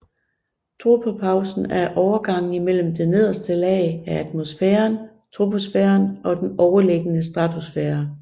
Tropopausen er overgangen imellem det nederste lag af atmosfæren troposfæren og den overliggende stratosfære